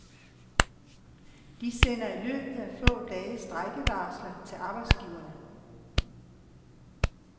De sender i løbet af få dage strejkevarsler til arbejdsgiverne.